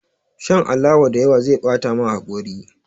Shan alawa da yawa zai bata ma haƙori